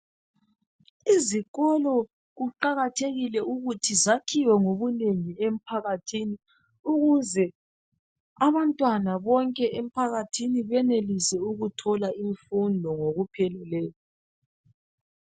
Izikolo kuqakathekile ukuthi zakhiwe ngobunengi emphakathini ukuze abantwana bonke emphakathini benelise ukuthola imfundo ngokupheleleyo.